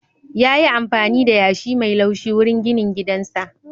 Yayi amfani da yashi mai laushi wurin ginin gidansa.